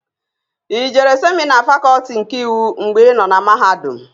I jere semịna Fakọlti nke Iwu mgbè ịnọ na mahadum?